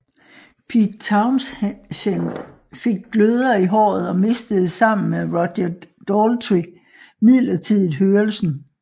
Pete Townshend fik gløder i håret og mistede sammen med Roger Daltrey midlertidigt hørelsen